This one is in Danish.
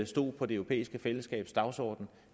stået på det europæiske fællesskabs dagsorden